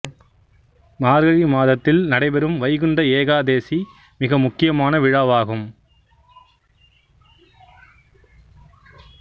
மார்கழி மாதத்தில் நடைப்பெறும் வைகுண்ட ஏகாதசி மிக முக்கியமான விழாவாகும்